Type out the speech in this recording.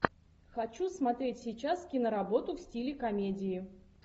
хочу смотреть сейчас киноработу в стиле комедии